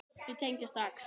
Þau tengja strax.